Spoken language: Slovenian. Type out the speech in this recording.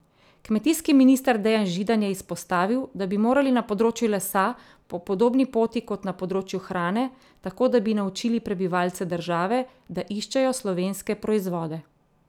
Kmetijski minister Dejan Židan je izpostavil, da bi morali na področju lesa po podobni poti kot na področju hrane tako, da bi naučili prebivalce države, da iščejo slovenske proizvode.